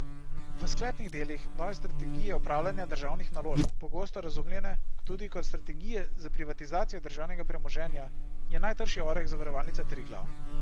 V sklepnih delih nove strategije upravljanja državnih naložb, pogosto razumljene tudi kot strategije za privatizacijo državnega premoženja, je najtršji oreh Zavarovalnica Triglav.